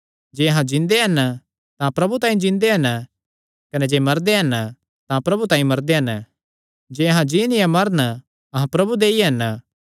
जे अहां जिन्दे हन तां प्रभु तांई जिन्दे हन कने जे मरदे हन तां प्रभु तांई मरदे हन जे अहां जीन या मरन अहां प्रभु दे ई हन